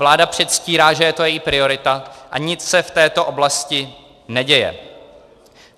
Vláda předstírá, že je to její priorita, a nic se v této oblasti neděje.